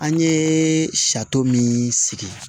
An ye sari min sigi